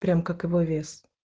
прям как его вес